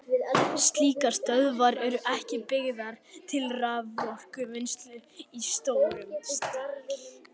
Slíkar stöðvar eru ekki byggðar til raforkuvinnslu í stórum stíl.